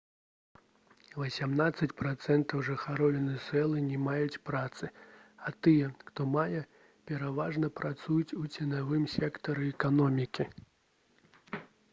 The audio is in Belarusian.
васямнаццаць працэнтаў жыхароў венесуэлы не маюць працы а тыя хто мае пераважна працуюць у ценявым сектары эканомікі